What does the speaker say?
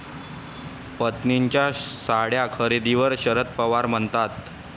पत्नीच्या साड्या खरेदीवर शरद पवार म्हणतात...